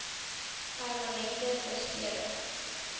permanente besering s